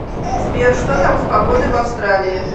сбер что там с погодой в австралии